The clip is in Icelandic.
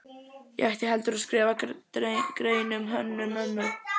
Ég ætti heldur að skrifa grein um Hönnu-Mömmu.